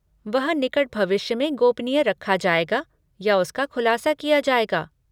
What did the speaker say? वह निकट भविष्य में गोपनीय रखा जाएगा या उसका खुलासा किया जाएगा?